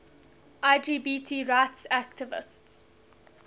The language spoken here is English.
lgbt rights activists